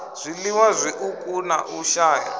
zwiliwa zwiuku na u shaya